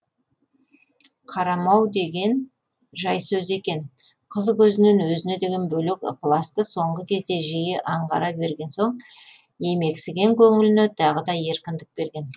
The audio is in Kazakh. қарамау деген жай сөз екен қыз көзінен өзіне деген бөлек ықыласты соңғы кезде жиі аңғара берген соң емексіген көңіліне тағы да еркіндік берген